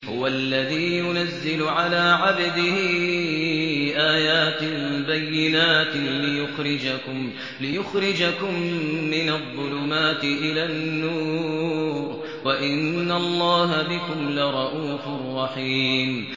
هُوَ الَّذِي يُنَزِّلُ عَلَىٰ عَبْدِهِ آيَاتٍ بَيِّنَاتٍ لِّيُخْرِجَكُم مِّنَ الظُّلُمَاتِ إِلَى النُّورِ ۚ وَإِنَّ اللَّهَ بِكُمْ لَرَءُوفٌ رَّحِيمٌ